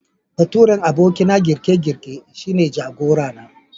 Baturen abokina girke-girke shine jagora na.